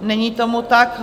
Není tomu tak.